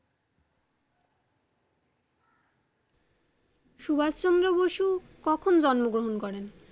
সুভাস চন্দ্র বসু কখন জন্ম গ্রহন করেন?